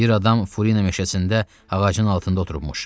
Bir adam Furina meşəsində ağacın altında oturubmuş.